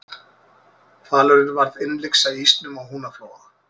hvalurinn varð innlyksa í ísnum á húnaflóa